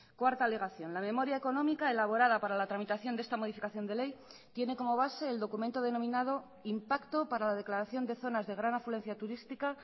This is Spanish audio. cuarta alegación la memoria económica elaborada para la tramitación de esta modificación de ley tiene como base el documento denominado impacto para la declaración de zonas de gran afluencia turística